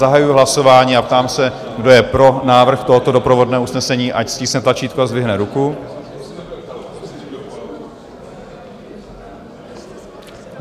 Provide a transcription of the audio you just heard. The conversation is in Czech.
Zahajuji hlasování a ptám se, kdo je pro návrh tohoto doprovodné usnesení, ať stiskne tlačítko a zdvihne ruku.